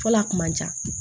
Fɔlɔ a kun man ca